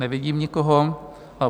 Nevidím nikoho.